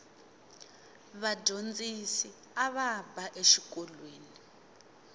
vadyondzisi ava ba exikolweni